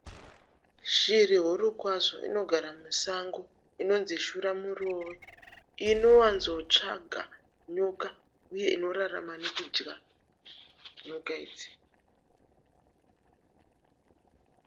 Shiri huru kwazvo inogara musango inonzi shuramurove inowanzo tsvaga nyoka uye inorarama nekudya nyoka idzi.